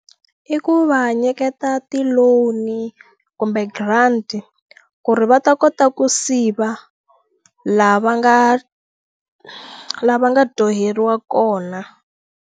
I ku va nyiketa ti-loan-i kumbe grant ku ri va ta kota ku siva lava nga lava nga dyoheriwa kona.